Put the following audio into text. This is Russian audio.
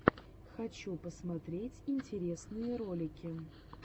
хочу посмотреть интересные ролики